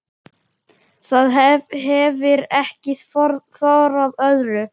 Það hefir ekki þorað öðru.